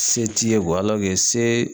Se t'i ye se